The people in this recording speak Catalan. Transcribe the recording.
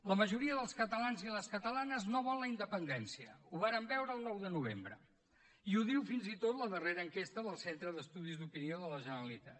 la majoria dels catalans i les catalanes no vol la independència ho vàrem veure el nou de novembre i ho diu fins i tot la darrera enquesta del centre d’estudis d’opinió de la generalitat